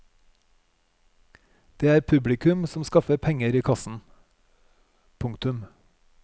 Det er publikum som skaffer penger i kassen. punktum